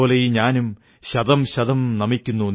സമാധാനത്തോടെ ഞാനുറങ്ങുന്നു കാരണം അതിർകാക്കാൻ നിങ്ങളുണ്ടല്ലോ